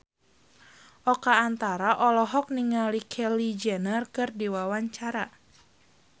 Oka Antara olohok ningali Kylie Jenner keur diwawancara